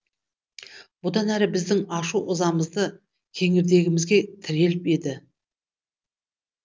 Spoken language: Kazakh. бұдан әрі біздің ашу ызамызды кеңірдегімізге тіреліп еді